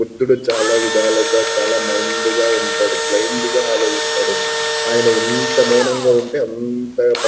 బుద్ధుడు చాలా విధాలుగా చాలా మైండ్ గా ఉంటడు. బ్లయిండ్ గా ఆలోచిస్తాడు. అయన ఎంత మౌనంగా ఉంటె అంత --